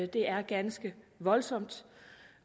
det er ganske voldsomt